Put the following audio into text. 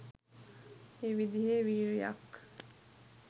ඒ විදිහේ වීර්යයක්